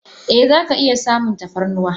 Eh zaka iya samun tafarnuwa.